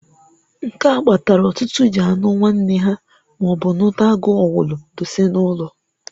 Nke a kpatalụ ọtụtụ ji anụ nwanne ha, maọbu nụta agu owulu dose n'ụnọ.